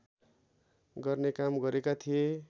गर्ने काम गरेका थिए